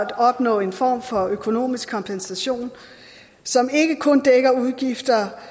at opnå en form for økonomisk kompensation som ikke kun dækker udgifter